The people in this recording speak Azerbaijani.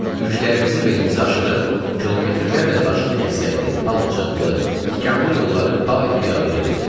Yüklərimizi belimizə aşırıb kilometrlərlə daşlı-kəsəkli, palçıqlı, tikanlı yolları payi-piyada gedirdik.